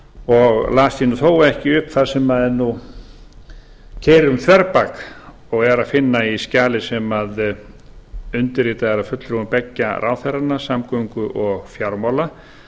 og las ég þó ekki upp það sem keyrir um þverbak og er að finna í skjali sem undirritað er af fulltrúum beggja ráðherranna samgöngu og fjármála